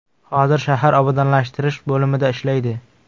Hozir shahar obodonlashtirish bo‘limida ishlaydi.